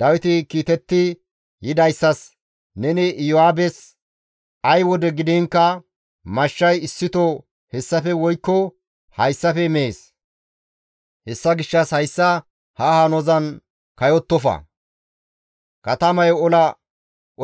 Dawiti kiitetti yidayssas, «Neni Iyo7aabes, ‹Ay wode gidiinkka mashshay issito hessafe woykko hayssafe mees; hessa gishshas hayssa ha hanozan kayottofa; katamayo ola